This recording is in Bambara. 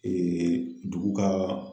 dugu ka